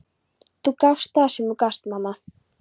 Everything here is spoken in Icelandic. Þú gafst það sem þú gast, mamma.